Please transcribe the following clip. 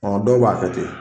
Ɔn dɔw b'a kɛ ten .